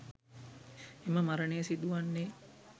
එම මරණය සිදුවන්නේ